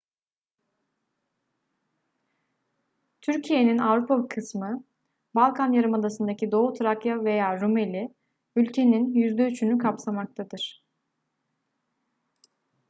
türkiye'nin avrupa kısmı balkan yarımadasındaki doğu trakya veya rumeli ülkenin %3'ünü kapsamaktadır